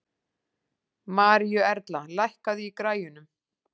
Maríuerla, lækkaðu í græjunum.